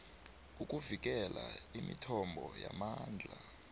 ukuvikela imithombo yamandla